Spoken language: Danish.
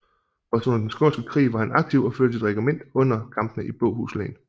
Også under Den Skånske Krig var han aktiv og førte sit regiment under kampene i Båhus Len